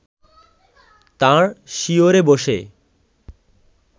তাঁর শিয়রে বসে